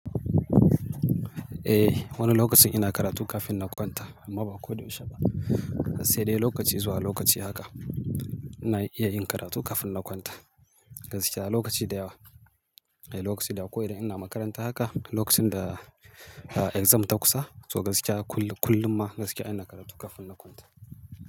Eh, wani lokacin ina karatu kafin na kwanta amma ba ko da yaushe ba. Sai dai lokaci zuwa lokaci haka na iya yin karatu kafin na kwanta. Gaskiya lokaci da yawa, eh lokaci da yawa ko idan ina makaranta haka lokacin da ah exam ta kusa to gaskiya kullum, kullum ma gaskiya ina karatu kafin na kwanta.